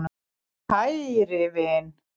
KÆRI vin.